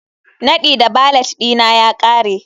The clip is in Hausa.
Nadi na valet ɗina ya ƙare